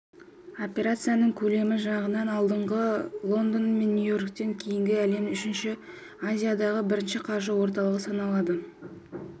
операцияларының көлемі жағынан алғанда лондон мен нью-йорктен кейінгі әлемдегі үшінші азиядағы бірінші қаржы орталығы саналады